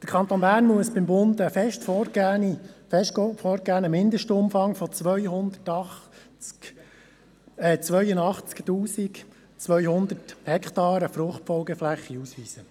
Der Kanton Bern muss beim Bund für die Fluchtfolgeflächen einen fest vorgegebenen Mindestumfang in der Höhe von 82 200 Hektaren ausweisen.